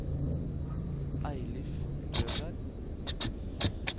Eilif Løberg